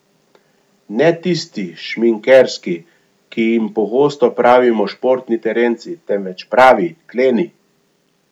Ne tisti, šminkerski, ki jim pogosto pravimo športni terenci, temveč pravi, kleni.